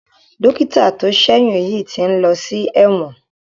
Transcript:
Dọ́kítà tó ṣẹ́yún yìí ti ń lọ sí ẹ̀wọ̀n.